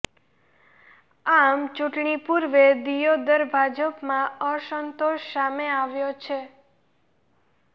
આમ ચૂંટણી પૂર્વે દિયોદર ભાજપમાં અસંતોષ સામે આવ્યો છે